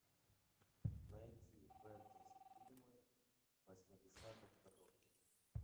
найти фэнтези фильмы восьмидесятых годов